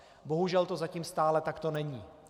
Bohužel to zatím stále takto není.